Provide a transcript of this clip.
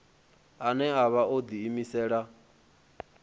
ane a vha o ḓiimisela